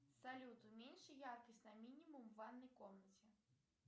салют уменьши яркость на минимум в ванной комнате